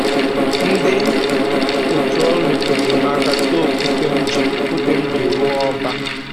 Ndị otu ọrụ nyekwudịrị m aka doo okwute m ji okwute m ji rụọ ọba